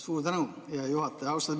Suur tänu, hea juhataja!